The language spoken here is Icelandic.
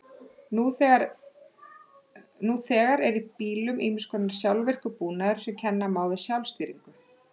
Nú þegar er í bílum ýmiss konar sjálfvirkur búnaður sem kenna má við sjálfstýringu.